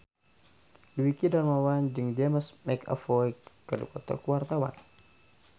Dwiki Darmawan jeung James McAvoy keur dipoto ku wartawan